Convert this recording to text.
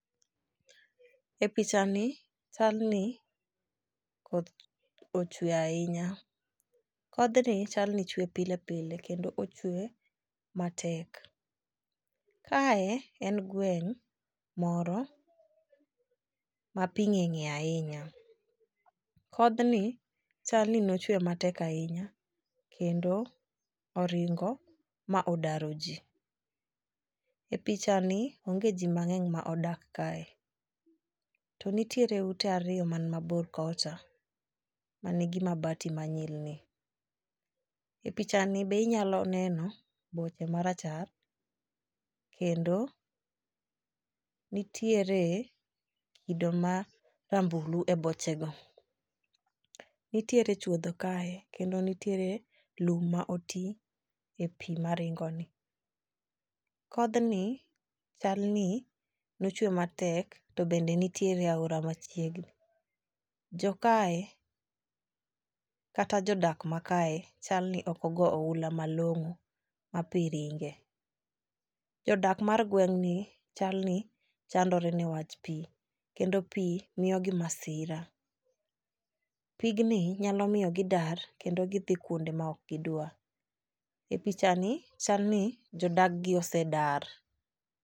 E picha ni chal ni koth ochwe ahinya. Kodhni chal ni chwe pilepile kendo ochwe matek. Kae en gweng' moro ma pii ng'enye ahinya. Kodhni chal ni nochwe matek ahinya kendo oringo ma odaro jii. E picha ni onge jii mang'eny ma odak kae, to nitiere ute ariyo man mabor kocha manigi mabati manyilni. E picha ni be inyalo neno boche marachar kendo nitiere kido marambulu e boche go. Nitiere chuodho kae kendo nitiere lum ma oti e pii maringo ni. Kodhni chal ni nochwe matek to bende nitiere aora machiegni. Jo kae kata jodak ma kae chalni ok ogo ohula malong'o ma pii ringe. Jodak mar gweng'ni chal ni chandore newach pii kendo pii miyogi masira . Pigni nyalo miyo gidar kendo gidhi kuonde ma ok gidwar . E picha ni chalni jodag gi osedar.